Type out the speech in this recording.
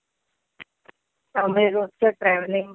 त्यामूळे रोजचं ट्रॅवेलिंग.